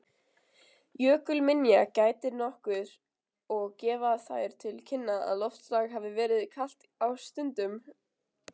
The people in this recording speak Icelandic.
Jökulminja gætir nokkuð og gefa þær til kynna að loftslag hafi verið kalt á stundum.